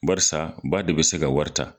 Barisa ba de be se ka wari ta.